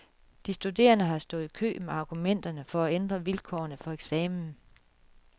De studerende har stået i kø med argumenter for få ændret vilkårene for eksamen.